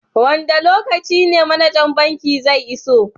wanda lokaci ne managan banki zai iso?